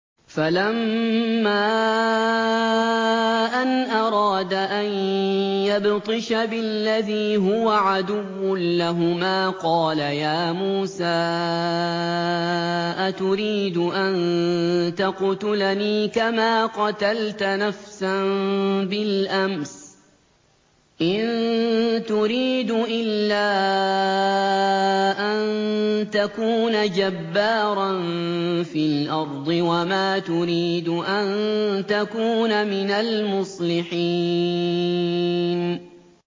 فَلَمَّا أَنْ أَرَادَ أَن يَبْطِشَ بِالَّذِي هُوَ عَدُوٌّ لَّهُمَا قَالَ يَا مُوسَىٰ أَتُرِيدُ أَن تَقْتُلَنِي كَمَا قَتَلْتَ نَفْسًا بِالْأَمْسِ ۖ إِن تُرِيدُ إِلَّا أَن تَكُونَ جَبَّارًا فِي الْأَرْضِ وَمَا تُرِيدُ أَن تَكُونَ مِنَ الْمُصْلِحِينَ